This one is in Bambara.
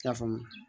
I y'a faamu